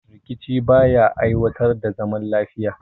Rikici ba ya aiwatar da zaman lafiya